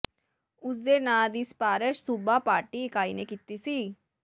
ਉਸ ਦੇ ਨਾਂ ਦੀ ਸਿਫਾਰਸ਼ ਸੂਬਾ ਪਾਰਟੀ ਇਕਾਈ ਨੇ ਕੀਤੀ ਸੀ